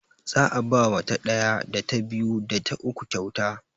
Za'a ba ma ta ɗaya, ta biyu, da ta uku kyauta.